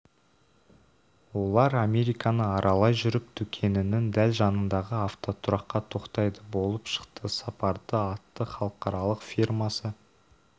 олар американы аралай жүріп дүкенінің дәл жанындағы автотұраққа тоқтайды болып шықты сапарды атты халықаралық фирмасы